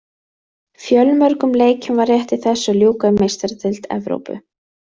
Fjölmörgum leikjum var rétt í þessu að ljúka í Meistaradeild Evrópu.